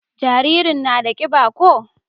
jaririn na da kiba ko?